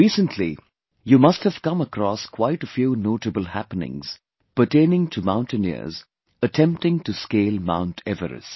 Recently, you must have come across quite a few notable happenings pertaining to mountaineers attempting to scale Mount Everest